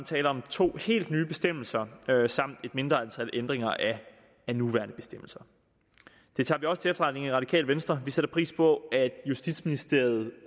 tale om to helt nye bestemmelser samt et mindre antal ændringer af nuværende bestemmelser det tager vi også til efterretning i radikale venstre vi sætter pris på at justitsministeriet